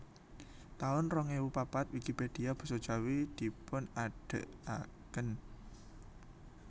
taun rong ewu papat Wikipédia Basa Jawi dipunadegaken